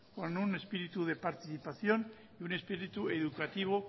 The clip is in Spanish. con un espíritu de participación y un espíritu educativo